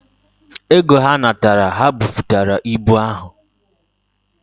Oge ha natara, ha buputere ibu ahu.